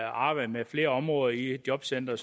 arbejde med flere områder i et jobcenter